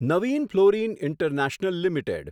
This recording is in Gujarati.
Navin fluorine international limited